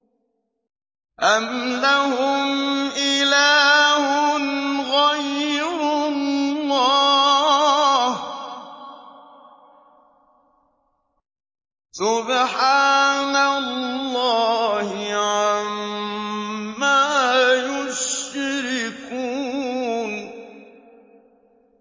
أَمْ لَهُمْ إِلَٰهٌ غَيْرُ اللَّهِ ۚ سُبْحَانَ اللَّهِ عَمَّا يُشْرِكُونَ